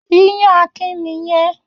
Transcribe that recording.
Iyán Akin nì yẹn.